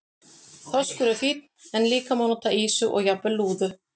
Þorskur er fínn en líka má nota ýsu og jafnvel lúðu.